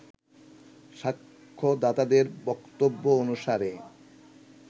সাক্ষ্যদাতাদের বক্তব্য অনুসারে